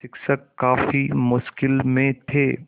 शिक्षक काफ़ी मुश्किल में थे